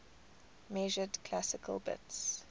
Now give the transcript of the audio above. measured classical bits